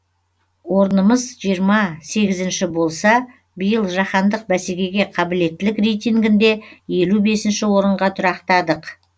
орнымыз жиырма сегізінші болса биыл жаһандық бәсекеге қабілеттілік рейтингінде елу бесінші орынға тұрақтадық